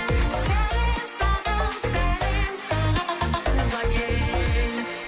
сәлем саған сәлем саған туған ел